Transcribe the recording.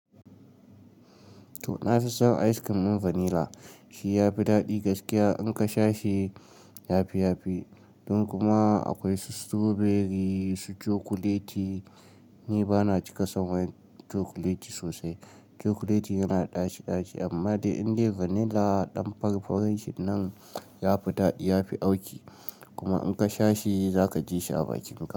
To, na fi son ice cream ɗin vanilla. Shi ya fi daɗi gaskiya in ka sha shi yafi yafi. Don kuma akwai su strawberry, su cokuleti. Ni bana cika son cokuleti sosai. Cokuleti yana ɗaci -ɗaci, amma dai indai vanilla ɗan fari-farin shin nan yafi daɗi, yafi auki. Kuma in ka sha shi za ka ji shi a bakin ka.